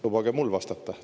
Lubage mul vastata!